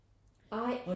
Ej